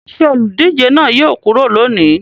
Ṣé olùdíje náà yóò kúrò lónìí?